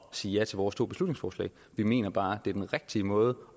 sige ja til vores to beslutningsforslag vi mener bare det er den rigtige måde